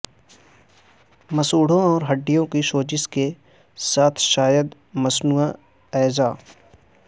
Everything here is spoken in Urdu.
مسوڑھوں اور ہڈیوں کی سوزش کے ساتھ شاید مصنوعی اعضاء